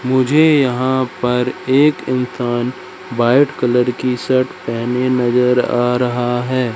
मुझे यहां पर एक इंसान व्हाइट कलर की शर्ट पहने नजर आ रहा है।